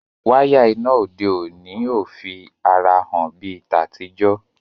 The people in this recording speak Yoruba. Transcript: Waya iná òde òni o fí àrà hàn bí ta tí jo.